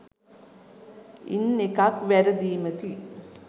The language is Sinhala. ඉන් එකක් වැරදීමකි